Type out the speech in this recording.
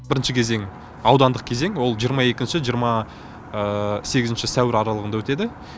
бірінші кезең аудандық кезең ол жиырма екінші жиырма сегізінші сәуір аралығында өтеді